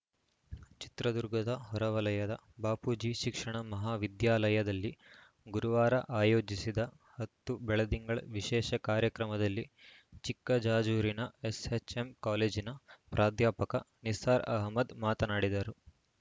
ಚಿತ್ರದುರ್ಗದ ಹೊರವಲಯದ ಬಾಪೂಜಿ ಶಿಕ್ಷಣ ಮಹಾವಿದ್ಯಾಲಯದಲ್ಲಿ ಗುರುವಾರ ಆಯೋಜಿಸಿದ ಹತ್ತು ಬೆಳದಿಂಗಳ ವಿಶೇಷ ಕಾರ್ಯಕ್ರಮದಲ್ಲಿ ಚಿಕ್ಕಜಾಜೂರಿನ ಎಸ್‌ಜೆಎಂ ಕಾಲೇಜಿನ ಪ್ರಾಧ್ಯಾಪಕ ನಿಸ್ಸಾರ್‌ ಅಹಮದ್‌ ಮಾತನಾಡಿದರು